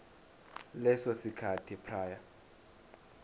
leso sikhathi prior